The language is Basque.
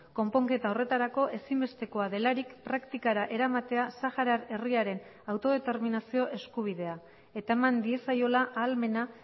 konponketa horretarako ezinbestekoa delarik praktikara eramatea saharar herriaren autodeterminazio eskubidea eta eman diezaiola ahalmena